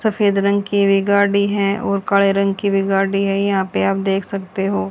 सफेद रंग की भी गाड़ी है और काले रंग की भी गाड़ी है यहां पे आप देख सकते हो।